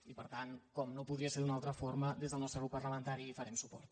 i per tant com no podria ser d’una altra forma des del nostre grup parlamentari hi farem suport